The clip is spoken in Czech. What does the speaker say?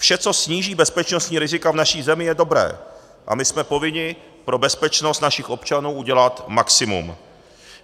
Vše, co sníží bezpečnostní rizika v naší zemi, je dobré a my jsme povinni pro bezpečnost našich občanů udělat maximum.